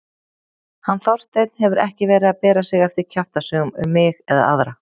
Hann Þorsteinn hefur ekki verið að bera sig eftir kjaftasögum um mig eða aðra.